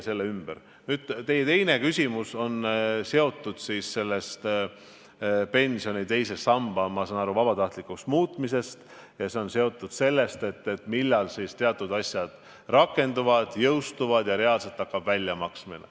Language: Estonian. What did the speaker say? Teie teine küsimus oli seotud pensioni teise samba vabatahtlikuks muutmisega ja sellega, millal teatud sätted rakenduvad ja reaalselt hakkab raha väljamaksmine.